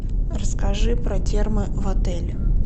расскажи про термы в отеле